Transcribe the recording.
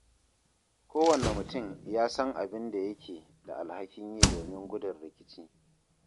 Kowanne mutum ya san abin da yake da alhakin yi domin gudun rikici.